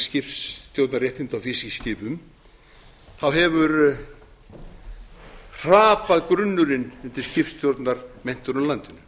skipstjórnarréttinda á fiskiskipum hefur hrapað grunnurinn undir skipstjórnarmenntun á landinu